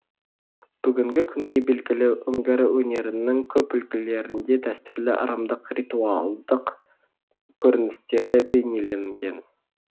бүгінгі күнге белгілі үңгір өнерінің көп үлгілерінде дәстүрлі ырымдық ритуалдық көріністері бейнеленген